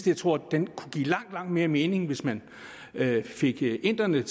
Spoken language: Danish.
jeg tror at den kunne give langt langt mere mening hvis man fik inderne